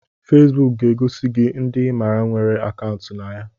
Fesebuk ga-egosi gị ndị ịmara nwere akaụntụ na ya